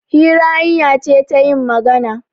Hira hanya ce ta yin magana.